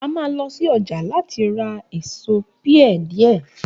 A mà lõsí õjá latí ra èsó pia dìé